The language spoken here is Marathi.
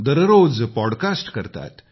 दररोज पॉडकास्ट करतात